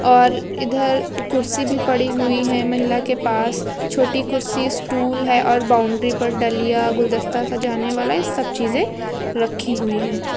और इधर कुर्सी भी पड़ी हुई है महिला के पास छोटी कुर्सी स्टूल है और बाउंड्री पर डलिया गुलदस्ता सजाने वाला ये सब चीजें रखी हुई हैं।